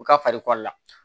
U ka faliko la